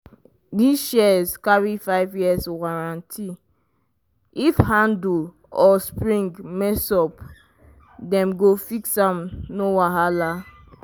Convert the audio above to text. this shears carry five years warranty — if handle or spring mess up dem go fix am no wahala.